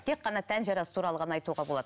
тек қана тән жарасы туралы ғана айтуға болады